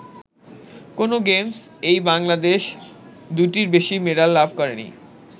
কোন গেমস-এই বাংলাদেশ দুটোর বেশি মেডাল লাভ করেনি।